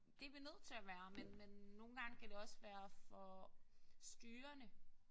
Det er vi nødt til at være men men nogle gange kan det også være for styrende